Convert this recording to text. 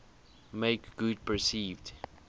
make good perceived